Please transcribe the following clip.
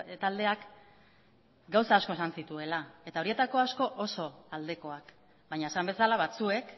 taldeak gauza asko esan zituela eta horietako asko oso aldekoak baina esan bezala batzuek